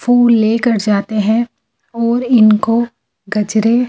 फूल लेकर जाते हैं वो इनको गजरे --